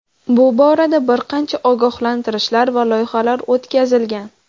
Bu borada bir qancha ogohlantirishlar va loyihalar o‘tkazilgan.